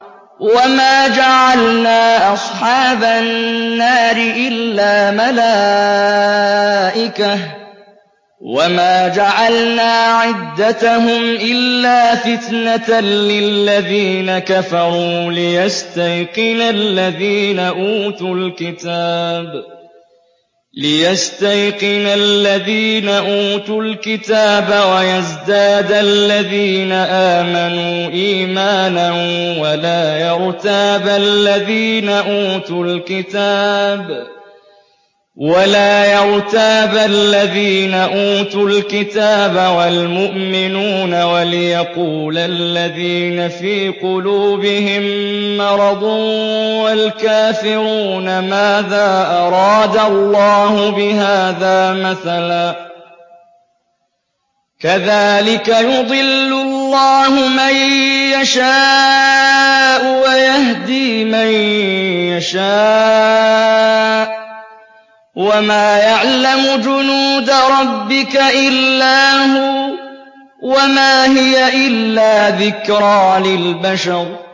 وَمَا جَعَلْنَا أَصْحَابَ النَّارِ إِلَّا مَلَائِكَةً ۙ وَمَا جَعَلْنَا عِدَّتَهُمْ إِلَّا فِتْنَةً لِّلَّذِينَ كَفَرُوا لِيَسْتَيْقِنَ الَّذِينَ أُوتُوا الْكِتَابَ وَيَزْدَادَ الَّذِينَ آمَنُوا إِيمَانًا ۙ وَلَا يَرْتَابَ الَّذِينَ أُوتُوا الْكِتَابَ وَالْمُؤْمِنُونَ ۙ وَلِيَقُولَ الَّذِينَ فِي قُلُوبِهِم مَّرَضٌ وَالْكَافِرُونَ مَاذَا أَرَادَ اللَّهُ بِهَٰذَا مَثَلًا ۚ كَذَٰلِكَ يُضِلُّ اللَّهُ مَن يَشَاءُ وَيَهْدِي مَن يَشَاءُ ۚ وَمَا يَعْلَمُ جُنُودَ رَبِّكَ إِلَّا هُوَ ۚ وَمَا هِيَ إِلَّا ذِكْرَىٰ لِلْبَشَرِ